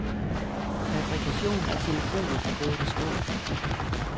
Fabrikationen af telefoner er gået i stå.